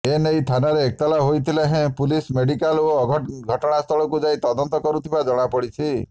ଏନେଇ ଥାନାରେ ଏତଲା ହୋଇନଥିଲେ ହେଁ ପୁଲିସ ମେଡିକାଲ ଓ ଘଟଣାସ୍ଥଳକୁ ଯାଇ ତଦନ୍ତ କରୁଥିବା ଜଣାପଡିଛି